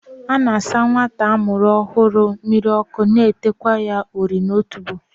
A na-asa nwata a mụrụ ọhụrụ mmiri ọkụ na teekwa ya ori n'otubo